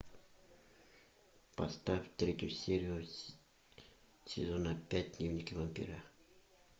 поставь третью серию сезона пять дневники вампира